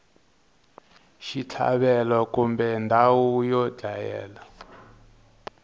xitlhavelo kumbe ndhawu yo dlayela